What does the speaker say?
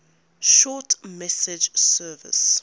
short message service